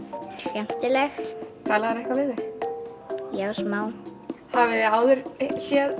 skemmtileg talaðirðu eitthvað við þau já smá hafið þið áður séð